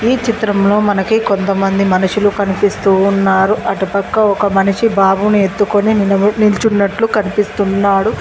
ఈ చిత్రంలో మనకి కొంతమంది మనుషులు కనిపిస్తూ ఉన్నారు అటుపక్క ఒక మనిషి బాబుని ఎత్తుకొని నిలబడి నిల్చున్నట్లు కనిపిస్తున్నాడు.